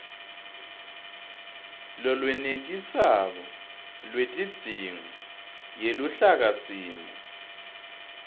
lolwenetisako lwetidzingo yeluhlakasimo